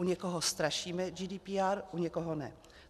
U někoho strašíme GDPR, u někoho ne.